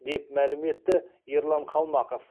деп мәлім етті ерлан қалмақов